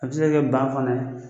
A bɛ se ka kɛ ban fana ye